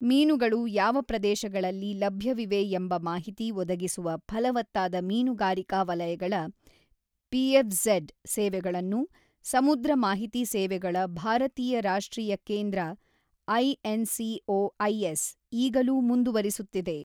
ಮೀನುಗಳು ಯಾವ ಪ್ರದೇಶಗಳಲ್ಲಿ ಲಭ್ಯವಿವೆ ಎಂಬ ಮಾಹಿತಿ ಒದಗಿಸುವ ಫಲವತ್ತಾದ ಮೀನುಗಾರಿಕಾ ವಲಯಗಳ ಪಿಎಫ್ಝಡ್ ಸೇವೆಗಳನ್ನು ಸಮುದ್ರ ಮಾಹಿತಿ ಸೇವೆಗಳ ಭಾರತೀಯ ರಾಷ್ಟ್ರೀಯ ಕೇಂದ್ರ ಐಎನ್ಸಿಒಐಎಸ್ ಈಗಲೂಮುಂದುವರಿಸುತ್ತಿದೆ.